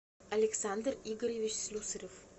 александр игоревич слюсарев